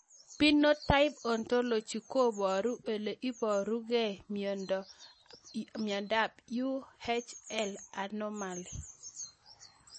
Phenotype ontology koparu ole iparukei miondo ab Uhl anomaly